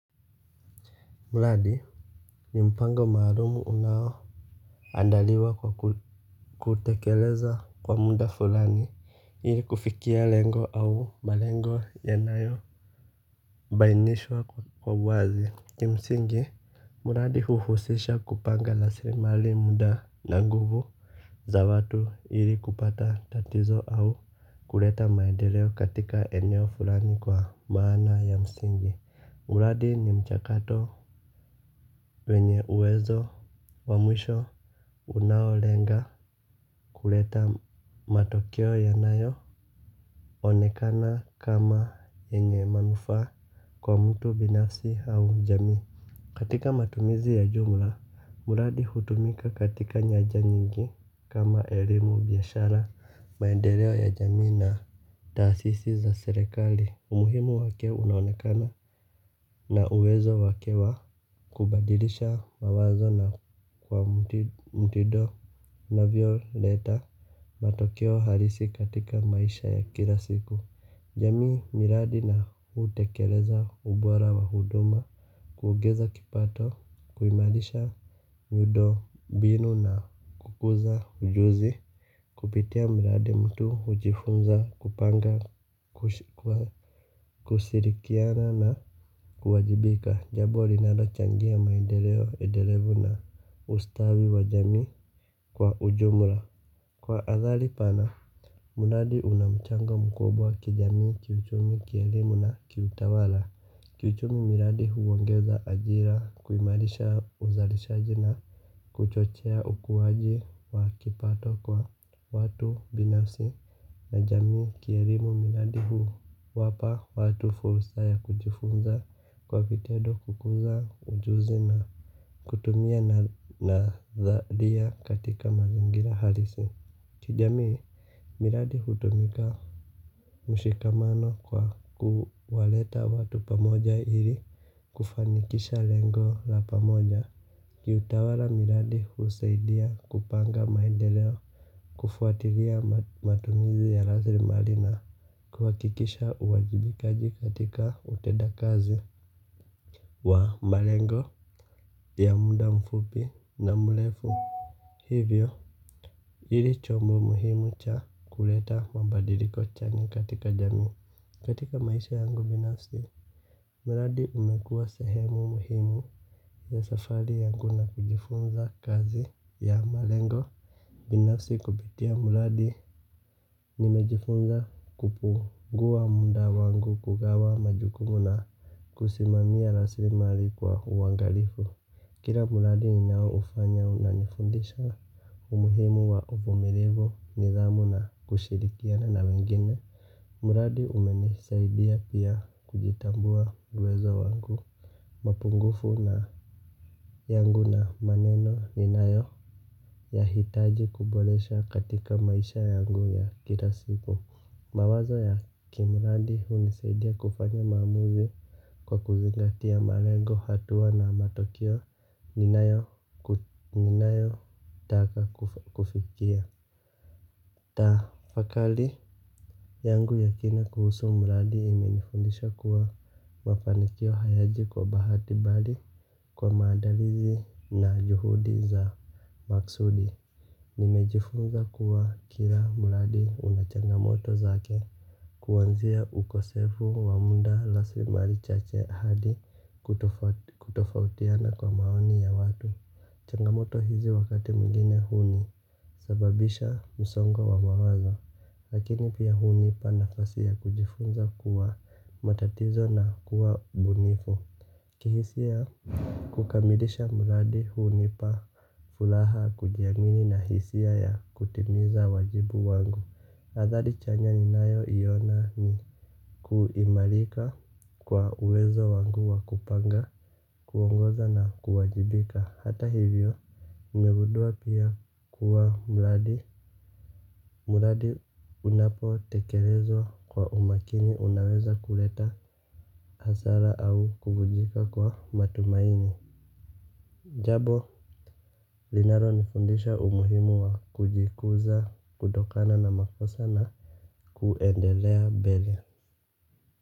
Mradi Ni mpango maalumu unao andaliwa kwa kutekeleza kwa muda fulani ili kufikia lengo au malengo yanayo bainishwa kwa wazi. Kimsingi mladi huhusisha kupanga lasrimali muda na nguvu za watu ili kupata tatizo au kureta maendeleo katika eneo fulani kwa maana ya msingi. Mladi ni mchakato. Wenye uwezo wa mwisho unaolenga kuleta matokeo yanayo onekana kama yenye manufaa kwa mtu binafsi au jamii. Katika matumizi ya jumla, muradi hutumika katika nyaja nyingi kama elimu biashara maendeleo ya jamii na taasisi za serekali. Umuhimu wake unaonekana na uwezo wake wa kubadilisha mawazo na kwa mtido unavyo leta matokeo halisi katika maisha ya kila siku. Jamii, miradi na hutekeleza ubora wa huduma. Kuugeza kipato, kuimalisha miudo mbinu na kukuza ujuzi. Kupitia miradi mtu hujifunza, kupanga, kusirikiana na kuwajibika. Jabo linalo changia maendeleo, endelevu na ustawi wa jamii kwa ujumula. Kwa azali pana, miradi una mchango mkubwa kijamii kiuchumi kielimu na kiutawala. Kiuchumi miradi huongeza ajira kuimalisha uzalishaji na kuchochia ukuwaji wa kipato kwa watu binafsi. Na jamii kierimu miradi huwapa watu furusa ya kujifunza kwa vitedo kukuza ujuzi na kutumia nazaria katika mazingira halisi. Kijamii miradi hutumika mshikamano kwa kuwaleta watu pamoja ili kufanikisha lengo la pamoja. Kiutawala miradi husaidia kupanga maendeleo kufuatilia matumizi ya lazirimali na kuwakikisha uwajibikaji katika utedakazi wa malengo ya muda mfupi na mlefu. Hivyo, ili chombo muhimu cha kuleta mabadiliko chanya katika jamii. Katika maisha yangu binafsi, muladi umekuwa sehemu muhimu ya safari yangu na kujifunza kazi ya malengo. Binafsi kupitia muladi nimejifunza kupungua munda wangu kugawa majukumu na kusimamia raslimari kwa uangalifu. Kila muradi ninao ufanya una nifundisha umuhimu wa umumilivu nidhamu na kushirikiana na wengine. Muradi umenisaidia pia kujitambua uwezo wangu. Mapungufu na yangu na maneno ninayo ya hitaji kubolesha katika maisha yangu ya kila siku. Mawazo ya kimuradi hunisaidia kufanya maamuzi kwa kuzingatia malengo hatua na matokeo. Ninayo taka kufikia. Tafakali yangu ya kina kuhusu muladi imenifundisha kuwa mafanikio hayaji kwa bahati bali kwa maandalizi na juhudi za maksudi. Nimejifunza kuwa kila muladi unachangamoto zake. Kuwanzia ukosefu wa munda laslimari chache hadi kutofautiana kwa maoni ya watu. Changamoto hizi wakati mwingine huni sababisha msongowa mawazo. Lakini pia hunipa nafasi ya kujifunza kuwa matatizo na kuwa bunifu. Kihisia kukamilisha muladi hunipa fulaha kujiamini na hisia ya kutimiza wajibu wangu adhali chanya ni nayo iona ni kuimarika kwa uwezo wangu wa kupanga kuongoza na kuwajibika. Hata hivyo nimegudua pia kuwa mladi. Mladi unapo tekelezwa kwa umakini unaweza kuleta hasara au kuvujika kwa matumaini. Jabo linaro nifundisha umuhimu wa kujikuza kutokana na makosa na kuendelea mbele.